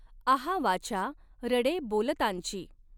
आहा वाचा रडॆ बॊलतांचि.